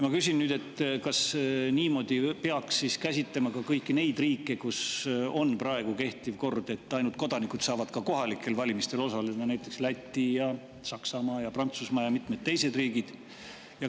Ma küsin, kas niimoodi peaks siis käsitlema ka kõiki neid riike, kus kehtib kord, et ainult kodanikud saavad kohalikel valimistel osaleda, näiteks Läti, Saksamaa, Prantsusmaa ja mitmed teised riigid.